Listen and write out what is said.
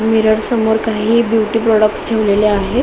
Mirror समोर काही beauty products ठेवलेले आहे.